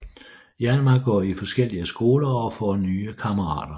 Hjalmar går i forskellige skoler og får nye kammerater